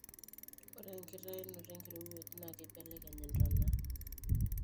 ore enkitainoto enkirowuaj naa keibelekeny intona